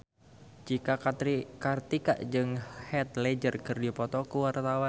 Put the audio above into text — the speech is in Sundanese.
Cika Kartika jeung Heath Ledger keur dipoto ku wartawan